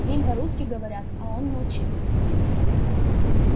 с ним по-русски говорят а он молчит